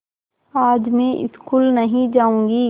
आज मैं स्कूल नहीं जाऊँगी